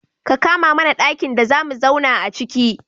Ka kama mana ɗakin da zamu zauna aciki.